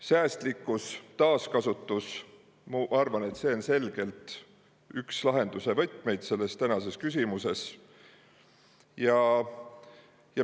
Säästlikkus, taaskasutus – ma arvan, et need on selgelt üks lahenduse võtmeid selles tänases küsimuses.